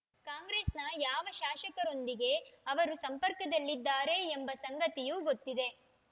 ಕಾಂಗ್ರೆಸ್‌ನ ಯಾವ ಶಾಸಕರೊಂದಿಗೆ ಅವರು ಸಂಪರ್ಕದಲ್ಲಿದ್ದಾರೆ ಎಂಬ ಸಂಗತಿಯೂ ಗೊತ್ತಿದೆ